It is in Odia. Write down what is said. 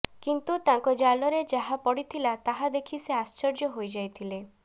କିନ୍ତୁ ତାଙ୍କ ଜାଲରେ ଯାହା ପଡ଼ିଥିଲା ତାହା ଦେଖି ସେ ଆଶ୍ଚର୍ଯ୍ୟ ହୋଇଯାଇଥିଲେ